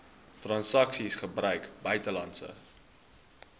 transaksies gebruik buitelandse